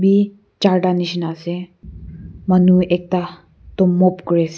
bi charta nishina ase manu ekta Itu mop kuri ase.